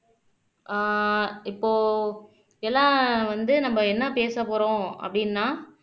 ஆஹ் இப்போ எல்லா வந்து நம்ம என்ன பேச போறோம் அப்படின்னா